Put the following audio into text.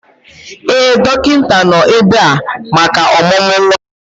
Ee, dọkịta nọ ebe a maka ọmụmụ nwa ya.